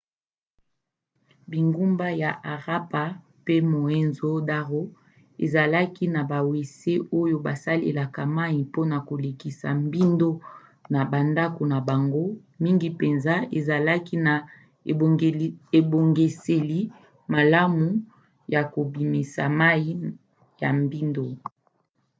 bingumba ya harappa pe mohenjo-daro ezalaki na bawese oyo basalelaka mai mpona kolekisa mbindo na bandako na bango mingi mpenza ezalaki na ebongiseli malamu ya kobimisa mai ya mbindo